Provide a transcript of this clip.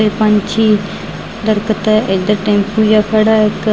ਤੇ ਪੰਛੀ ਦਰਖਤ ਇੱਧਰ ਟੈਂਪੂ ਜਿਹਾ ਖੜ੍ਹਾ ਇੱਕ --